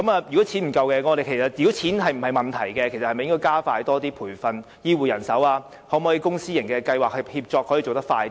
如果錢不是問題，我們應否加快培訓醫護人手，或由公私營計劃協作，從而把工作做得更快呢？